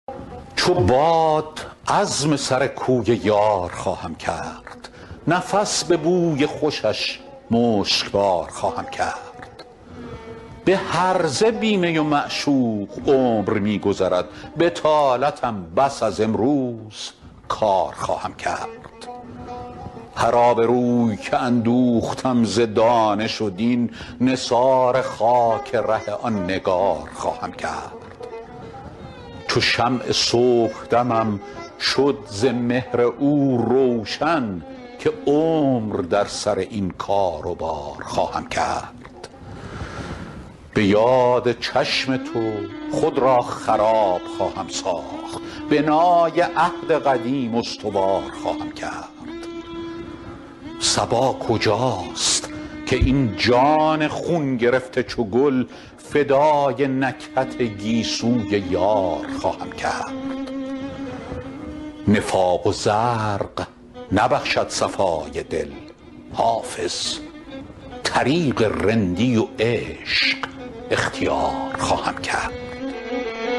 چو باد عزم سر کوی یار خواهم کرد نفس به بوی خوشش مشکبار خواهم کرد به هرزه بی می و معشوق عمر می گذرد بطالتم بس از امروز کار خواهم کرد هر آبروی که اندوختم ز دانش و دین نثار خاک ره آن نگار خواهم کرد چو شمع صبحدمم شد ز مهر او روشن که عمر در سر این کار و بار خواهم کرد به یاد چشم تو خود را خراب خواهم ساخت بنای عهد قدیم استوار خواهم کرد صبا کجاست که این جان خون گرفته چو گل فدای نکهت گیسوی یار خواهم کرد نفاق و زرق نبخشد صفای دل حافظ طریق رندی و عشق اختیار خواهم کرد